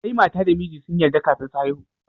Sai mata da miji sun yarda kafin su haihu.